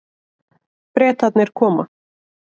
Bretarnir koma.